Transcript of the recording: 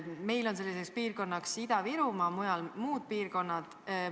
Meil on selline piirkond Ida-Virumaa, muudes riikides on omad piirkonnad.